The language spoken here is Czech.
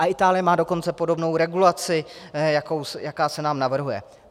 A Itálie má dokonce podobnou regulaci, jaká se nám navrhuje.